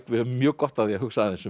við höfum mjög gott af því að hugsa aðeins um